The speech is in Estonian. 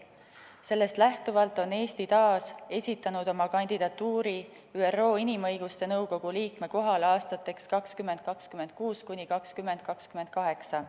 Sellest lähtuvalt on Eesti taas esitanud oma kandidatuuri ÜRO Inimõiguste Nõukogu liikme kohale aastateks 2026–2028.